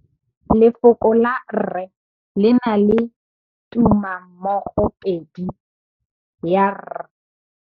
Lefoko la rre le na le tumammogôpedi ya, r.